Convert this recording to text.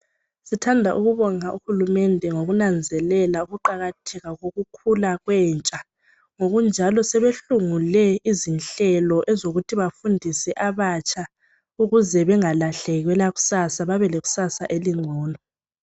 Sthanda ukubonga uhurumende ngonanzelela ukuqakatheka kokukhula kwentsha, ngokujalo sebehlungule izihlelo ezokuthi bafundise abatsha, ukuze bengahlelwe elakusasa, babe lakusasa elingcono.